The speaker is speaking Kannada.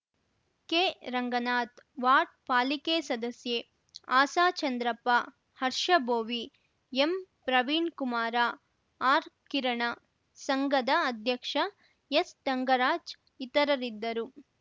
ಕೆರಂಗನಾಥ್‌ ವಾರ್ಡ್‌ ಪಾಲಿಕೆ ಸದಸ್ಯೆ ಆಸಾ ಚಂದ್ರಪ್ಪ ಹರ್ಷಬೋವಿ ಎಂಪ್ರವೀಣ್‌ ಕುಮಾರ ಆರ್‌ಕಿರಣ ಸಂಘದ ಅಧ್ಯಕ್ಷ ಎಸ್‌ತಂಗರಾಜ್‌ ಇತರರಿದ್ದರು